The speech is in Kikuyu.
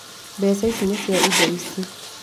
Mbeca ici nĩ cia indo ici